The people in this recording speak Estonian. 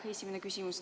See on esimene küsimus.